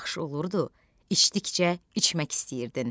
Elə yaxşı olurdu, içdikcə içmək istəyirdin.